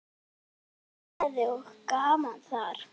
Mikil gleði og gaman þar.